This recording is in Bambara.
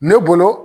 Ne bolo